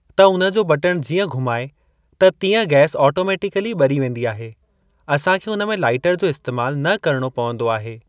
त उन जो बटण जीअं घुमाए त तीअं गैस आटोमेटिकली ॿरी वेंदी आहे असांखे उन में लाइटर जो इस्तेमाल न करणो पवंदो आहे।